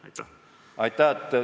Aitäh!